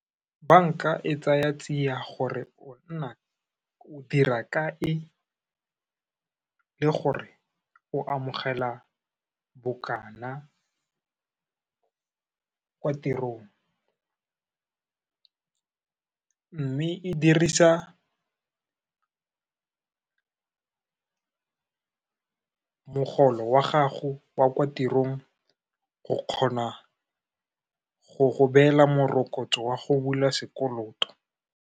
Banka e tsaya tsiya gore o dira kae, le gore o amogela bokana, kwa tirong. Mme e dirisa mogolo wa gago wa kwa tirong, go kgona go go beela morokotso wa go bula sekoloto.